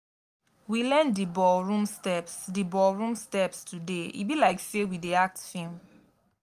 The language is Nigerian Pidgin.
we learn di ballroom steps di ballroom steps today e be like sey we dey act film.